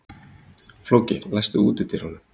Flóki, læstu útidyrunum.